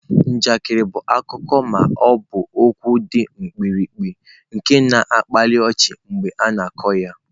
Njakịrị bụ akụkọ ma ọ bụ okwu dị mkpirikpi nke na-akpali ọchị mgbe a na-akọ ya.